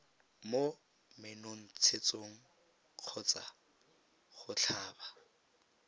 mo menontshetsong kgotsa go tlhaba